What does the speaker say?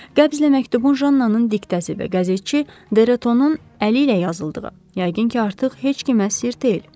Qəbzlə məktubun Jannanın diktəsi və qəzetçi Derotonun əli ilə yazıldığı, yəqin ki, artıq heç kimə sirr deyil.